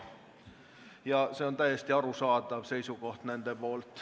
Ja see on täiesti arusaadav seisukoht.